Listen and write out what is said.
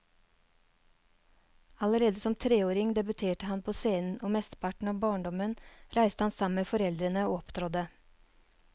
Allerede som treåring debuterte han på scenen, og mesteparten av barndommen reiste han sammen med foreldrene og opptrådte.